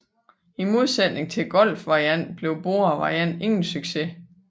I modsætning til Golf Variant blev Bora Variant ingen succes